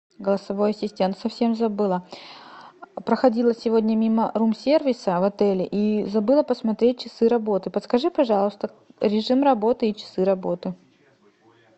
голосовой ассистент совсем забыла проходила сегодня мимо рум сервиса в отеле и забыла посмотреть часы работы подскажи пожалуйста режим работы и часы работы